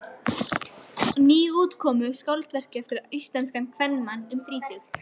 Nýútkomnu skáldverki eftir íslenskan kvenmann um þrítugt.